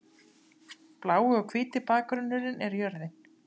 Blái og hvíti bakgrunnurinn er jörðin.